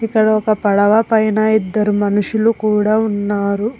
ఇక్కడ ఒక పడవ పైన ఇద్దరు మనుషులు కూడా ఉన్నారు